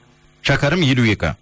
шәкәрім елу екі